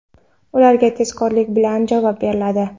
ularga tezkorlik bilan javob beriladi.